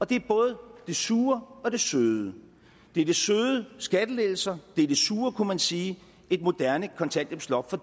det er både det sure og det søde det er det søde skattelettelser og det er det sure kunne man sige et moderne kontanthjælpsloft for